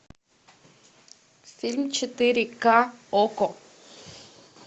фильм четыре ка окко